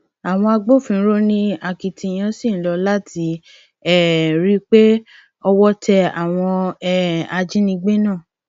àwọn agbófinró ní akitiyan ṣì ń lò láti um rí i pé owó tẹ àwọn um ajínigbé náà